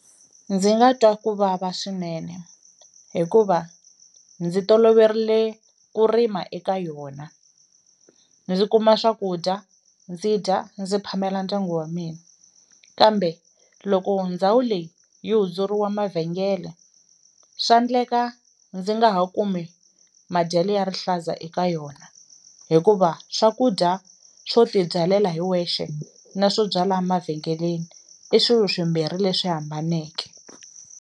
Ndzi nga twa ku vava swinene hikuva ndzi toloverile ku rima eka yona ndzi kuma swakudya ndzi dya ndzi phamela ndyangu wa mina, kambe loko ndhawu leyi yi hundzuriwa mavhengele swa ndleka ndzi nga ha kumi madyele ya rihlaza eka yona hikuva swakudya swo tibyalela hi wexe na swo byala mavhengeleni i swilo swimbhiri leswi hambaneke.